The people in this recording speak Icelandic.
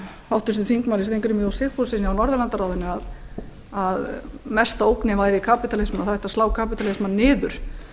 háttvirtum þingmönnum steingrími j sigfússyni á norðurlandaráðinu að mesta ógnin væri kapítalismann og það ætti að slá kapitalismann niður